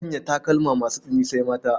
Sanya takalma masu tsini sai mata.